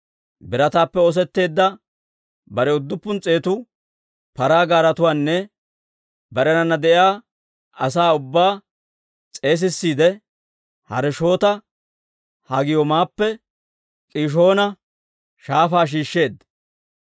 birataappe oosetteedda bare udduppun s'eetu paraa gaaretuwaanne barenana de'iyaa asaa ubbaa s'eesissiide, Harosheeta-Hagooyiimappe K'iishoona Shaafaa shiishsheedda.